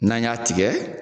N'an y'a tigɛ.